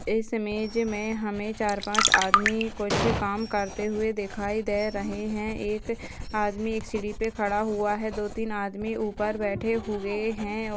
इस इमेज में हमें चार-पाँच आदमी कुछ काम करते हुए दिखाई दे रहे हैं एक आदमी एक सीढ़ी पे खड़ा हुआ है दो तीन आदमी ऊपर बैठे हुए हैं।